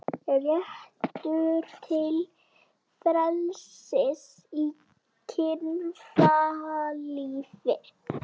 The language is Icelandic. Réttur til frelsis í kynlífi